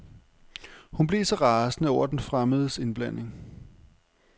Hun blev så rasende over den fremmedes indblanding.